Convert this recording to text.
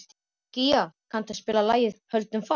Gía, kanntu að spila lagið „Höldum fast“?